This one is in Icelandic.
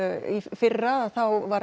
fyrra var